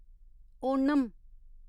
Onam